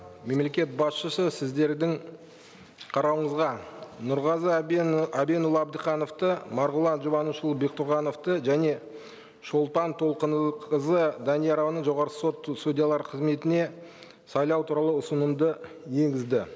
мемлекет басшысы сіздердің қарауыңызға нұрғазы әбенұлы абдықановты марғұлан жұбанышұлы бектұрғановты және шолпан толқынқызы даниярованы жоғарғы сот судьялары қызметіне сайлау туралы ұсынымды енгізді